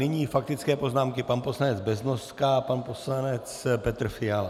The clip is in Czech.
Nyní faktické poznámky pan poslanec Beznoska a pan poslanec Petr Fiala.